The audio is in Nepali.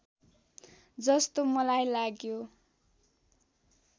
जस्तो मलाई लाग्यो